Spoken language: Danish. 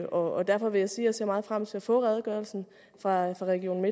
og derfor vil jeg sige at jeg ser meget frem til at få redegørelsen fra region